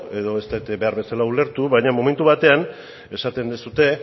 edo ez dut behar bezala ulertu baina momentu batean esaten duzue